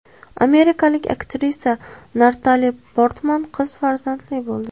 Amerikalik aktrisa Natali Portman qiz farzandli bo‘ldi.